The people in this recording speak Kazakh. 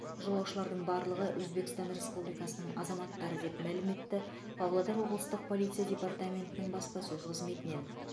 жолаушылардың барлығы өзбекстан республикасының азаматтары деп мәлім етті павлодар облыстық полиция департаментінің баспасөз қызметінен